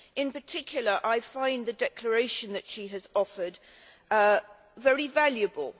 In particular I find the declaration that she has offered very valuable.